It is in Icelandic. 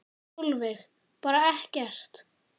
Sólveig: Bara ekkert?